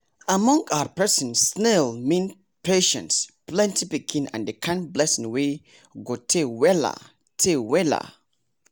among our person snail mean patience plenty pikin and the kind blessing wey go tey weller tey weller